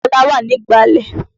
Kọ́lá wà ní ìgbàlẹ̀.